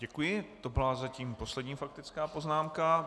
Děkuji, to byla zatím poslední faktická poznámka.